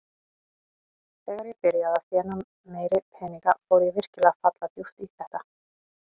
Þegar ég byrjaði að þéna meiri peninga fór ég virkilega að falla djúpt í þetta.